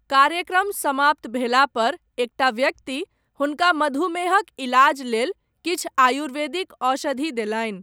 कार्यक्रम समाप्त भेलापर, एकटा व्यक्ति, हुनका मधुमेहक इलाज लेल, किछु आयुर्वेदिक औषधि देलनि।